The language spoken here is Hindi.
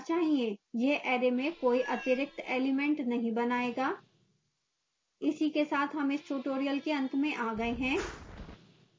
यह array में कोई अतिरिक्त element नहीं बनायेगा